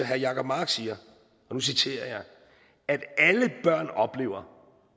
herre jacob mark siger at alle børn oplever at